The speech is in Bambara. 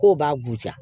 K'o b'a gosi